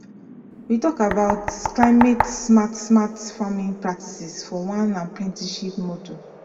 we talk about climate smart smart farming practices for one apprenticeship module